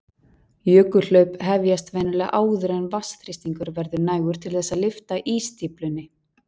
Jökulhlaup hefjast venjulega áður en vatnsþrýstingur verður nægur til þess að lyfta ísstíflunni.